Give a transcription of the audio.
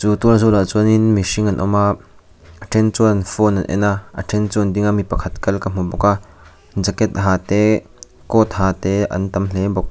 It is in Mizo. tual zawlah chuan in mihring an awm a a then chuan phone an en a a then chu an ding a mi pakhat kal ka hmu bawk a jacket ha te coat ha te an tam hle bawk.